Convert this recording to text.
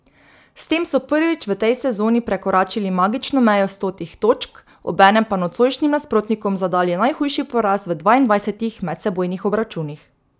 S tem so prvič v tej sezoni prekoračili magično mejo stotih točk, obenem pa nocojšnjim nasprotnikom zadali najhujši poraz v dvaindvajsetih medsebojnih obračunih.